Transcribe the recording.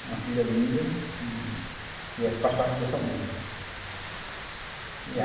Tem uma filha linda, que eh faz parte do nosso amor, né.